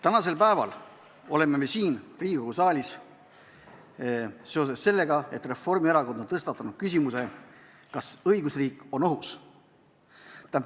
Tänasel päeval oleme me siin Riigikogu saalis seoses sellega, et Reformierakond on tõstatanud küsimuse, kas õigusriik on ohus.